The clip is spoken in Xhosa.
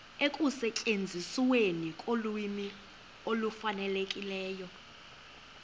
ekusetyenzisweni kolwimi olufanelekileyo